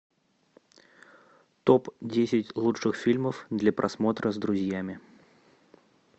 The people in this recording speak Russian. топ десять лучших фильмов для просмотра с друзьями